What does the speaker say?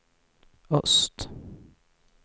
öst